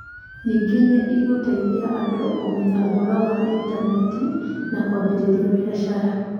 Ningĩ nĩ ĩgũteithagia andũ kũmenya ũhoro wa Intaneti na kwambĩrĩria biacara.